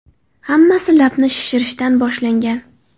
Hammasi labni shishirishdan boshlangan.